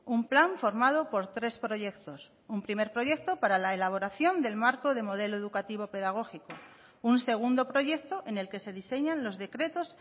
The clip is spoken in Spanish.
un plan formado por tres proyectos un primer proyecto para la elaboración del marco de modelo educativo pedagógico un segundo proyecto en el que se diseñan los decretos